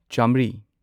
ꯆꯥꯃ꯭ꯔꯤ